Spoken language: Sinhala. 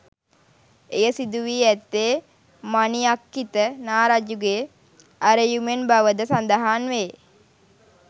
එය සිදුවී ඇත්තේ මණිඅක්ඛිත නා රජුගේ ඇරයුමෙන් බවද සඳහන්වේ.